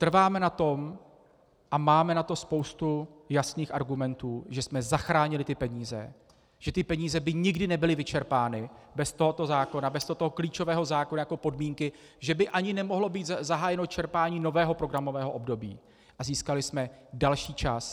Trváme na tom a máme na to spoustu jasných argumentů, že jsme zachránili ty peníze, že ty peníze by nikdy nebyly vyčerpány bez tohoto zákona, bez tohoto klíčového zákona jako podmínky že by ani nemohlo být zahájeno čerpání nového programového období, a získali jsme další čas.